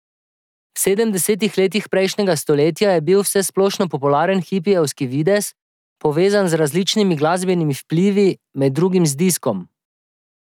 V sedemdesetih letih prejšnjega stoletja je bil vsesplošno popularen hipijevski videz, povezan z različnimi glasbenimi vplivi, med drugim z diskom.